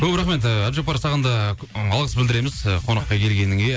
көп рахмет ііі әбдіжаппар саған да алғыс білдіреміз і қонаққа келгеніңе